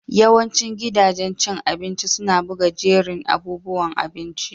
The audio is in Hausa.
Yawancin gidajen cin abinci suna buga jerin abubuwan abinci.